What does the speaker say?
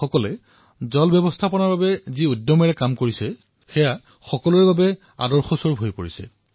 গাঁওবাসীয়ে জল সংৰক্ষণৰ ক্ষেত্ৰত দেখুওৱা উৎসাহ আৰু উদ্দীপনা সঁচায়েই সকলোৰে বাবে আদৰ্শ হৈ পৰিছে